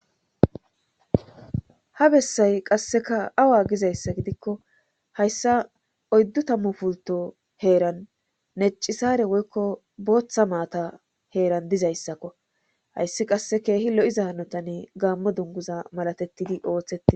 Ha bessay qasseka awa gizayssa gidikko hayssa oyddu tammu pulto heeran neccisare woykko booththa maata heeran dizayssakko hayssi qasse keehi lo7iza hanotani gaammo dunguza malatettidi ooththeii.